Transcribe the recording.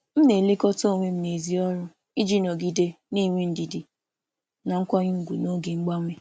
M na-elekọta onwe m n’èzí ọrụ iji nọgide na-enwe ndidi na nkwanye ùgwù n’oge mgbanwe.